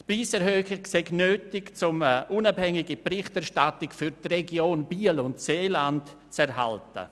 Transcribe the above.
Diese Preiserhöhung sei nötig, um eine unabhängige Berichterstattung für die Region Biel und Seeland zu erhalten.